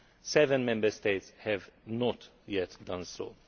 Seven Member States have not yet done